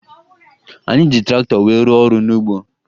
Anyị ji traktọ wee rụọ ọrụ n'ugbo